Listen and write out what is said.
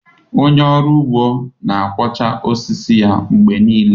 Onye ọrụ ugbo na-kwachaa osisi ya mgbe niile.